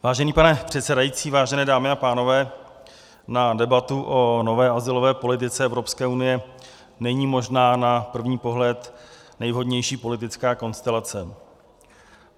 Vážený pane předsedající, vážené dámy a pánové, na debatu o nové azylové politice Evropské unie není možná na první pohled nejvhodnější politická konstelace.